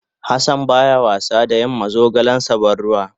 Hassan bata was da yin ma zogalen ta bantuwa.